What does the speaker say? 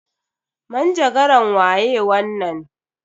Manjagaran waye wannan?